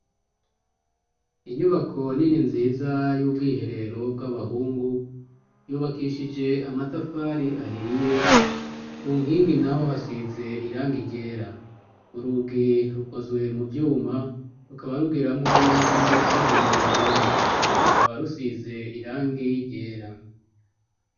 Inyubako nini nziza y'ubwiherero bw'abahungu, yubakishije amatafari ahiye, ku nkingi naho hasize irangi ryera. Urugi rukozwe mu vyuma rukaba rugiramwo n'ibiyo bibona. Rukaba rusize irangi ryera.